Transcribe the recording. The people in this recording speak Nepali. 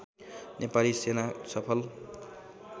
नेपाली सेना सफल